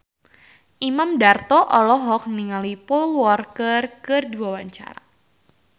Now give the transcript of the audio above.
Imam Darto olohok ningali Paul Walker keur diwawancara